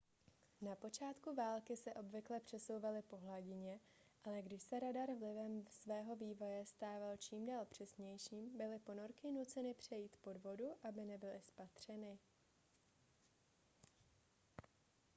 na počátku války se obvykle přesouvaly po hladině ale když se radar vlivem svého vývoje stával čím dál přesnějším byly ponorky nuceny přejít pod vodu aby nebyly spatřeny